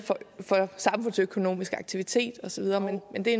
for den samfundsøkonomiske aktivitet og så videre men det